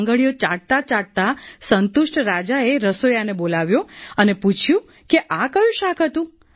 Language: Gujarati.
આંગળીઓ ચાટતા ચાટતા સંતુષ્ટ રાજાએ રસોઈયાને બોલાવ્યો અને પૂછ્યું કે આ કયું શાક હતું